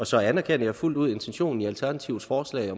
så anerkender jeg fuldt ud intentionen i alternativets forslag